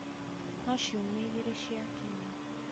no ciumia igĩrĩ ciakinya,